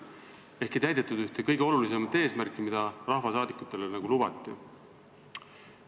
Ehk ei täidetud ühte kõige olulisemat eesmärki, mida rahvasaadikutele lubati.